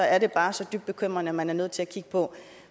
er det bare så dybt bekymrende at man er nødt til at kigge på